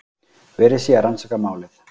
Verið sé að rannsaka málið